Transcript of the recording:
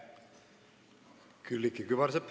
Külliki Kübarsepp.